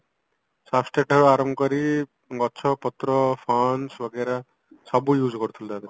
ଆରମ୍ଭ କରିକି ଗଛ ପତ୍ର ବଗେରା ସବୁ use କରୁଥିଲୁ ତାଧିଅରେ